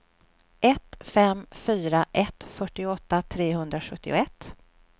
ett fem fyra ett fyrtioåtta trehundrasjuttioett